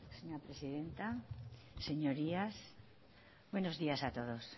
señora presidenta señorías buenos días a todos